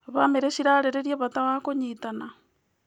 Bamĩrĩ cirarĩrĩria bata wa kũnyitana.